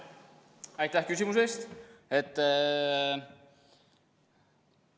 Aitäh küsimuse eest!